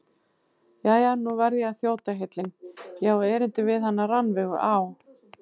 Jæja, nú verð ég að þjóta heillin, ég á erindi við hana Rannveigu á